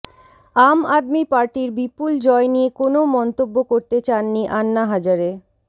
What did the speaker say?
আম আদমি পার্টির বিপুল জয় নিয়ে কোনও মন্তব্য করতে চাননি আন্না হাজারে